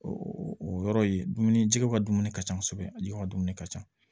O o yɔrɔ ye dumuni jɛgɛw ka dumuni ka ca kosɛbɛ ale ka dumuni ka ca